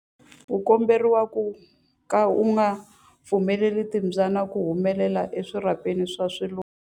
U komberiwa ku ka u nga pfumeleli timbyana ku humela eswirhapeni swa swiluva.